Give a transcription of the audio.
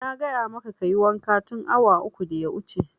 Na gaya maka kayi wanka tun awa uku da ya wuce!